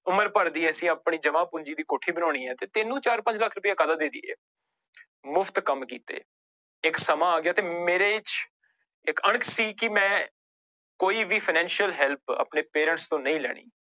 ਉਮਰ ਭਰ ਦੀ ਅਸੀਂ ਆਪਣੀ ਜਮਾਂ ਪੂੰਜੀ ਦੀ ਕੋਠੀ ਬਣਾਉਣੀ ਹੈ ਤੇ ਤੈਨੂੰ ਚਾਰ ਪੰਜ ਲੱਖ ਰੁਪਇਆ ਕਾਹਦਾ ਦੇ ਦੇਈਏ, ਮੁਫ਼ਤ ਕੰਮ ਕੀਤੇ ਇੱਕ ਸਮਾਂ ਆ ਗਿਆ ਤੇ ਮੇਰੇ ਚ ਇੱਕ ਅਣਖ ਸੀ ਕਿ ਮੈਂ ਕੋਈ ਵੀ financial help ਆਪਣੇ parents ਤੋਂ ਨਹੀਂ ਲੈਣੀ